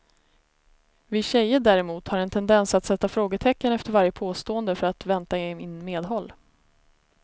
Vi tjejer däremot har en tendens att sätta frågetecken efter varje påstående för att vänta in medhåll.